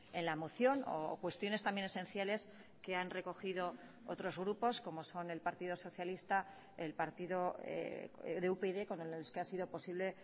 en la moción o cuestiones también esenciales que han recogido otros grupos como son el partido socialista el partido de upyd con los que ha sido posible